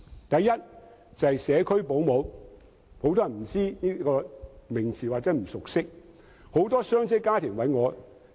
第一是社區保姆，很多人不知道或不熟悉這個名詞。